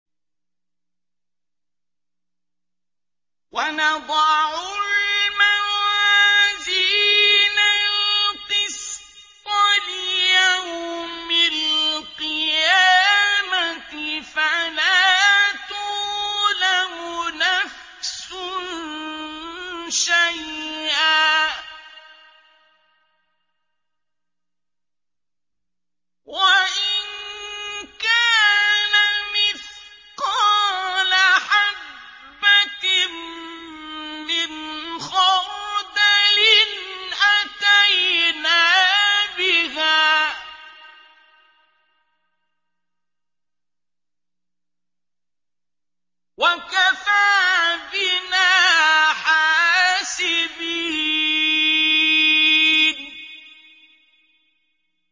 وَنَضَعُ الْمَوَازِينَ الْقِسْطَ لِيَوْمِ الْقِيَامَةِ فَلَا تُظْلَمُ نَفْسٌ شَيْئًا ۖ وَإِن كَانَ مِثْقَالَ حَبَّةٍ مِّنْ خَرْدَلٍ أَتَيْنَا بِهَا ۗ وَكَفَىٰ بِنَا حَاسِبِينَ